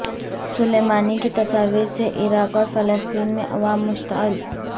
سلیمانی کی تصاویر سے عراق اور فلسطین میں عوام مشتعل